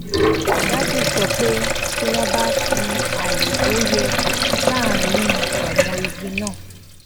dádì sọ pé tí wón bá fi àyè tó yẹ sáàárín àwọn igi náà